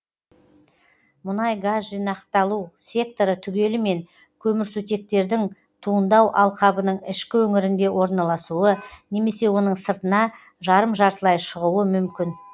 мұнайгаз жинақталу секторы түгелімен көмірсутектердің туындау алқабының ішкі өңірінде орналасуы немесе оның сыртына жарым жартылай шығуы мүмкін